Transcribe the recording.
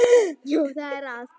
Já, það er það.